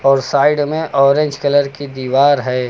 और साइड में orange colour की दीवार है।